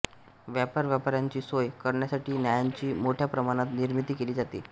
व्यापारव्यापाराची सोय करण्यासाठी नाण्यांची मोठ्या प्रमाणात निर्मिती केली जाते